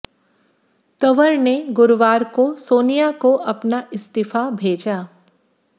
तंवर ने गुरुवार को सोनिया को अपना इस्तीफा भेजा